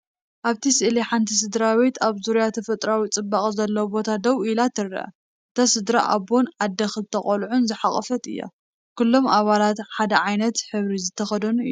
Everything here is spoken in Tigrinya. ኣብቲ ስእሊ ሓንቲ ስድራቤት ኣብ ዙርያ ተፈጥሮኣዊ ጽባቐ ዘለዎ ቦታ ደው ኢላ ትርአ። እታ ስድራቤት ኣቦን ኣደን ክልተ ቆልዑን ዝሓቖፈት እያ። ኩሎም ኣባላት ሓደ ዓይነት ሕብሪ ዝተኸድኑ እዮም።